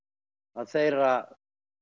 þeirra